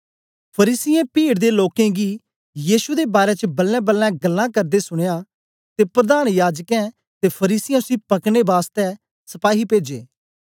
फरीसियें पीड़ दे लोकें गी यीशु दे बारै च बलेंबलें गल्लां करदे सुनयां ते प्रधान याजकें ते फरीसियें उसी पकड़ने बासतै सपाही पेजे